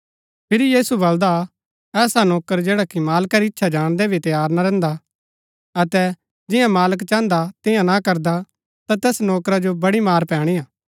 फिरी यीशु बलदा ऐसा नौकर जैडा कि मालका री ईच्‍छा जाणदै भी तैयार ना रैहन्दा अतै जियां मालक चाहन्दा तियां ना करदा ता तैस नौकरा जो बड़ी मार पैणीआ